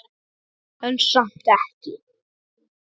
En samt ekki.